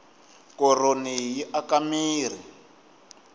koroni yi aka mirhi